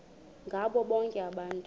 ngabo bonke abantu